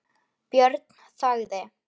Björn þagði.